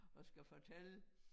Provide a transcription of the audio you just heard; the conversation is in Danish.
At skulle fortælle